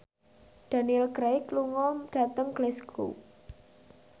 Daniel Craig lunga dhateng Glasgow